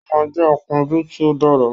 Ó máa jẹ́ akúnjú tí ó dára